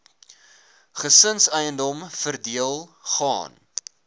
gesinseiendom verdeel gaan